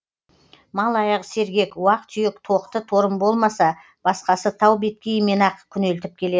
мал аяғы сергек уақ түйек тоқты торым болмаса басқасы тау беткейімен ақ күнелтіп келеді